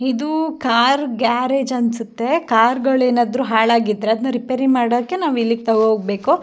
ಇದು car garage ಅನ್ಸುತ್ತೆ car ಗಳು ಏನಾದ್ರು ಹಾಳಾಗಿದ್ದರೆ ಅದನ್ನ ರಿಪೇರಿ ಮಾಡೋಕೆ ನಾವ್ ಇಲ್ಲಿಗ್ ತಗೋ ಹೋಗ್ಬೇಕು.